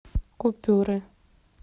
купюры